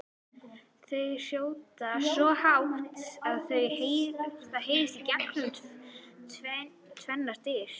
Þau hrjóta svo hátt að það heyrist gegnum tvennar dyr!